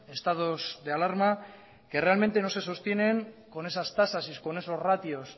estados de alarma que realmente no se sostienen con esas tasas y con esos ratios